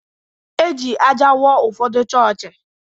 E ji ájá wuo ụfọdụ chọọchị.